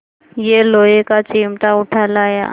यह लोहे का चिमटा उठा लाया